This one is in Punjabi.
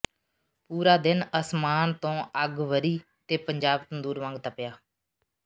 ਪੂਰਾ ਦਿਨ ਅਸਮਾਨ ਤੋਂ ਅੱਗ ਵਰ੍ਹੀ ਤੇ ਪੰਜਾਬ ਤੰਦੂਰ ਵਾਂਗ ਤਪਿਆ